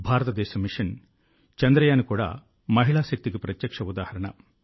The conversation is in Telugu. భారతదేశ మిషన్ చంద్రయాన్ కూడా మహిళా శక్తికి ప్రత్యక్ష ఉదాహరణ